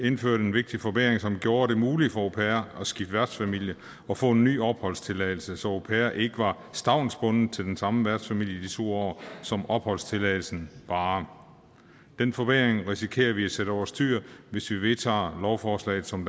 indført en vigtig forbedring som gjorde det muligt for au pairer at skifte værtsfamilie og få en ny opholdstilladelse så au pairer ikke var stavnsbundet til den samme værtsfamilie i de to år som opholdstilladelsen varede den forbedring risikerer vi at sætte over styr hvis vi vedtager lovforslaget som